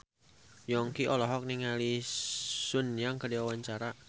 Yongki olohok ningali Sun Yang keur diwawancara